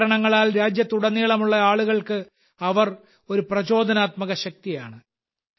പല കാരണങ്ങളാൽ രാജ്യത്തുടനീളമുള്ള ആളുകൾക്ക് അവർ ഒരു പ്രചോദനാത്മക ശക്തിയാണ്